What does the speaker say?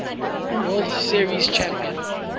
world series champion